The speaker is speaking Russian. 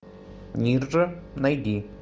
нирджа найди